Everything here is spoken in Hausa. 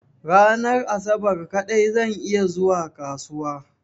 Ranar asabar kaɗai zan iya zuwa kasuwa.